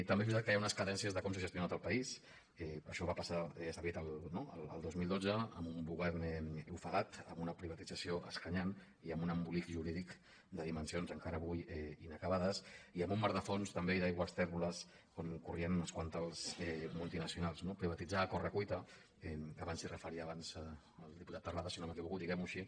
també és veritat que hi ha unes cadències de com s’ha gestionat el país que això va passar ja s’ha dit no al dos mil dotze amb un govern ofegat amb una privatització escanyant i amb un embolic jurídic de dimensions encara avui inacabades i amb un mar de fons també i d’aigües tèrboles on corrien unes quantes multinacionals no privatitzar a corre cuita abans s’hi referia el diputat terrades si no m’equivoco diguem ho així